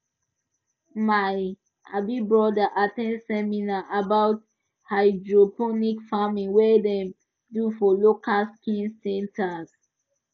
my um brother at ten d seminar about hydroponic farming wey dem do for local skills centre